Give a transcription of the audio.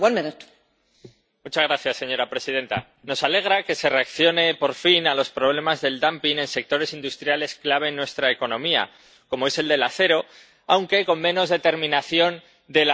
Señora presidenta, nos alegra que se reaccione por fin a los problemas del dumping en sectores industriales clave en nuestra economía, como es el del acero, aunque con menos determinación de la necesaria, por desgracia.